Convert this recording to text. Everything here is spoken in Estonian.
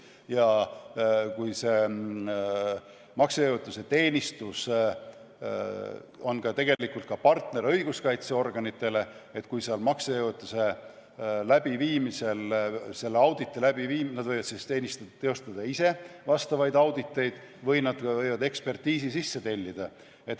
Ja see maksejõuetuse teenistus on ka partner õiguskaitseorganitele, st maksejõuetuse menetluse läbiviimisel võivad nad kas ise teostada vastavaid auditeid või siis ekspertiisi sisse tellida.